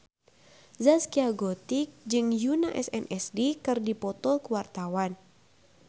Zaskia Gotik jeung Yoona SNSD keur dipoto ku wartawan